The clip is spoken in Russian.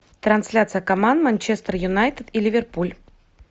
трансляция команд манчестер юнайтед и ливерпуль